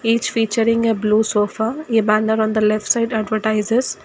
Its featuring a blue sofa a banner on the left side advertises.